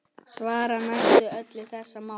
Svar: Næstum öll þessara mála